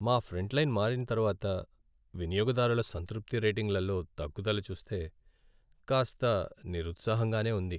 మా ఫ్రంట్లైన్ మారిన తర్వాత వినియోగదారుల సంతృప్తి రేటింగ్లలో తగ్గుదల చూస్తే కాస్త నిరుత్సాహంగానే ఉంది.